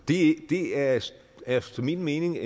det det er efter min mening